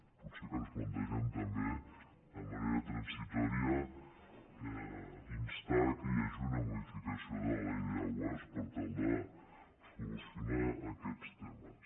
potser que ens plantegem també de manera transitòria instar que hi hagi una modificació de la ley de aguasde solucionar aquests temes